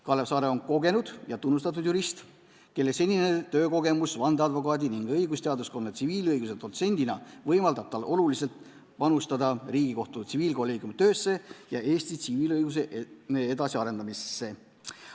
Kalev Saare on kogenud ja tunnustatud jurist, kelle senine töökogemus vandeadvokaadi ning õigusteaduskonna tsiviilõiguse dotsendina võimaldab tal oluliselt panustada Riigikohtu tsiviilkolleegiumi töösse ja Eesti tsiviilõiguse edasiarendamisesse.